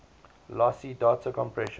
lossy data compression